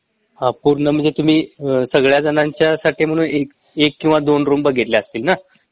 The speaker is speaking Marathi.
ह पूर्ण म्हंजे तुम्ही सगळ्यां जणांच्यासाठी म्हणून एक किंवा दोन रूम बघितल्या असतील ना